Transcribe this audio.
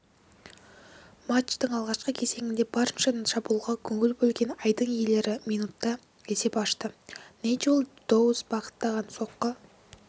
матчтың алғашқы кезеңінде барынша шабуылға көңіл бөлген айдын иелері минутта есеп ашты найджел доус бағыттаған соққы